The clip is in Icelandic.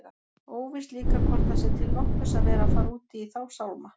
Óvíst líka hvort það sé til nokkurs að vera að fara út í þá sálma.